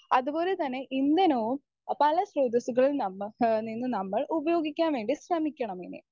speaker 1 അതുപോലെതന്നെ ഇന്ധനവും പല സ്രോതസ്സുകൾ നമ്മ നിന്ന് നമ്മൾ ഉപയോഗിക്കാൻ വേണ്ടി ശ്രമിക്കണം ഇനി